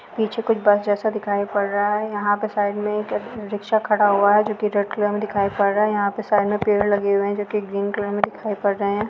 पीछे कोई बस जैसा दिखाई पड़ रहा है यहाँ पे साइड में एक रिक्शा खड़ा हुआ है जो की रेड कलर में दिखाई पड़ रहा है यहाँ पे साइक में पेड़ लगे हुए हैं जो के ग्रीन कलर में दिखाई पड़ रहे हैं।